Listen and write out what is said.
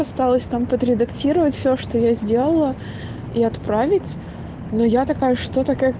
осталось там подредактировать все что я сделала и отправить но я такая что-то как